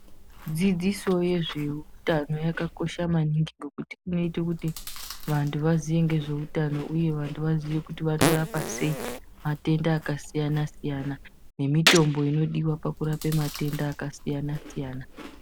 Dzidziso yezveutano yakakosha maningi ngekuti inoite kuti vanhu vaziye ngezveutano uye vanhu vaziye kuti vanorapa sei matenda akasiyanasiayana nemitombo inodiwa pakurape matenda akasiyanasiyana.